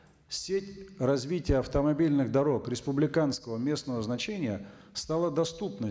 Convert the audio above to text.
сеть развития автомобильных дорог республиканского местного значения стала доступной